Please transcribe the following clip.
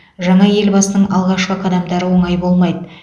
жаңа ел басының алғашқы қадамдары оңай болмайды